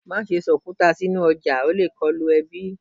Ma ṣe sọ okuta sinu ọja o le kọlu ẹbi